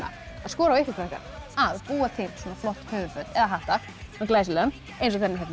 að skora á ykkur krakkar að búa til svona flott höfuðföt eða hatta svona glæsilegan eins og þennan hérna